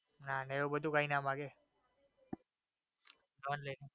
ના ના એવું બધું કઈ ના માંગે.